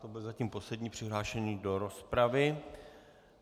To byl zatím poslední přihlášený do rozpravy.